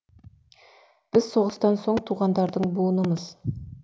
біз соғыстан соң туғандардың буынымыз